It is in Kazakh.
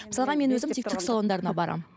мысалға мен өзім тек түрік салондарына барамын